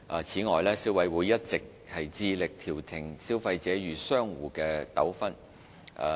此外，消委會一直致力調停消費者與商戶的糾紛。